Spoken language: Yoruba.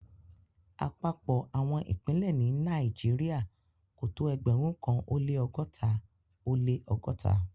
Àpapọ̀ àwọn ìpínlẹ̀ ní Nàìjíríà kò tó ẹgbẹ̀rún kan ó lẹ́ ọgọ́ta ó lẹ́ ọgọ́ta.